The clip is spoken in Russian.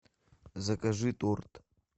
закажи торт